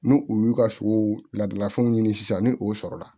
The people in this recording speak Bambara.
N'u u y'u ka sogo ladalafɛnw ɲini sisan ni o sɔrɔla